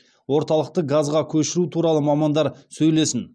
орталықты газға көшіру туралы мамандар сөйлесін